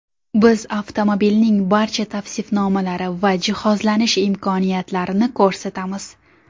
Biz avtomobilning barcha tavsifnomalari va jihozlanish imkoniyatlarini ko‘rsatamiz.